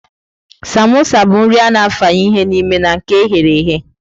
Samosa bụ nri a-na afanye ihe n'ime na nke e ghere eghe.